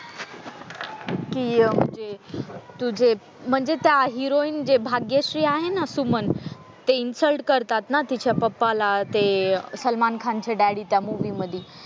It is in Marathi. कि म्हणजे तुझे म्हणजे त्या हिरोईन जे भाग्यश्री आहे ना सुमन त्या इंसल्ट करतात ना तिची पप्पाला ते सलमान खान चे डॅड्डी त्या मूवी मध्ये.